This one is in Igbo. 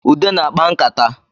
Ude na-akpa nkata